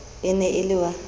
e ne e le wa